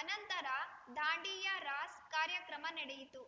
ಅನಂತರ ದಾಂಡಿಯಾ ರಾಸ್‌ ಕಾರ್ಯಕ್ರಮ ನಡೆಯಿತು